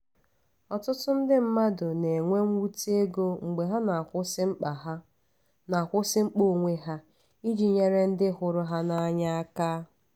ọtụtụ mmadụ na-enwe mwute ego mgbe ha na-akwụsị mkpa ha na-akwụsị mkpa onwe ha iji nyere ndị hụrụ ha n’anya aka.